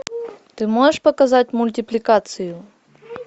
ты можешь показать мультипликацию